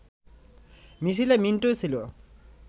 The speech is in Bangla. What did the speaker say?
মিছিলে মিন্টু ছিল